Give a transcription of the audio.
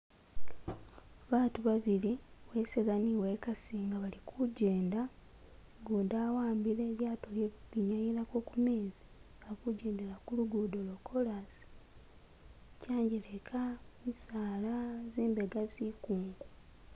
Baatu babili uweseza ni uwekasi nga bali kujenda ugundi awambile ilyato ilye kukwinyayilako kumezi bali kujendela kulugudo lwokolasi kyanjeleka misaala zimbega zikungu.